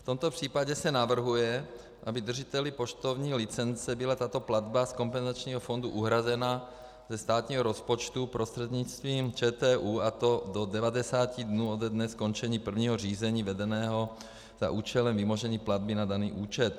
V tomto případě se navrhuje, aby držiteli poštovní licence byla tato platba z kompenzačního fondu uhrazena ze státního rozpočtu prostřednictvím ČTÚ, a to do 90 dnů ode dne skončení prvního řízení vedeného za účelem vymožení platby na daný účet.